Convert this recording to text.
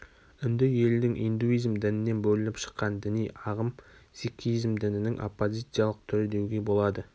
үнді елінің индуизм дінінен бөлініп шыккан діни ағым сикхизм дінінің оппозициялық түрі деуге болады